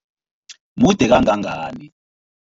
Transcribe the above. Mude kangangani?